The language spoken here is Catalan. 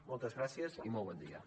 moltes gràcies i molt bon dia